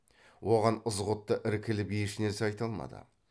оған ызғұтты іркіліп ешнәрсе айта алмады